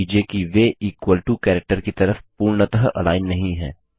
ध्यान दीजिये की वे इक्वल टो कैरेक्टर की तरफ पूर्णतः अलाइन नहीं है